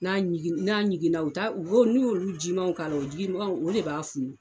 N'a ɲigin n'a ɲiginna u t'a u bo n'u y'olu jimanw k'a la o jigimanw o de b'a funu.